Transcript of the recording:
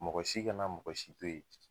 Mɔgɔ si kana mɔgɔ si to yen